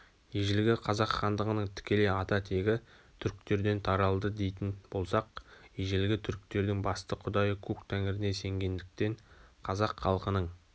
ежелгі қазақ хандығының тікелей ата-тегі түріктерден таралды дейтін болсақ ежелгі түріктердің басты құдайы көк тәңіріне сенгендіктен қазақ халқының